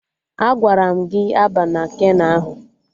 Agwara m gị a ama keno ahụ!